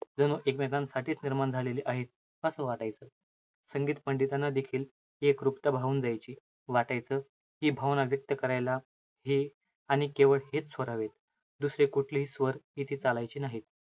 जणू एकमेकांसाठीच निर्माण झालेले आहेत. असं वाटायचं. संगीत पंडितांनादेखील ती एकरूपता भावून जायची. वाटायचं, हे भावना व्यक्त करायला, हे आणि केवळ हेच स्वरावे. दुसरे कुठलेही स्वर इथे चालायचे नाही.